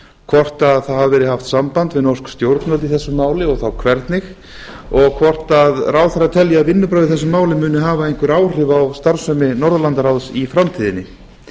hvort það hafi verið haft samband við norsk stjórnvöld í þessu máli og þá hvernig og hvort ráðherra telji að vinnubrögð í þessu máli muni hafa einhver áhrif á starfsemi norðurlandaráðs í framtíðinni